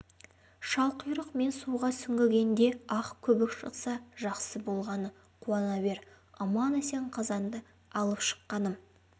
шалқұйрық мен суға сүңгігенде ақ көбік шықса жақсы болғаны қуана бер аман-есен қазанды алып шыққаным